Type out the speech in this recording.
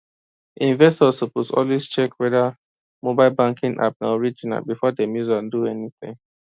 investors suppose always check whether mobile banking app na original before dem use am do anything